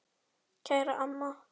Kæra amma.